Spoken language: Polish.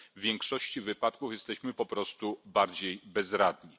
W większości wypadków jesteśmy po prostu bardziej bezradni.